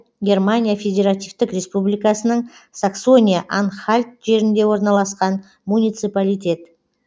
германия федеративтік республикасының саксония анхальт жерінде орналасқан муниципалитет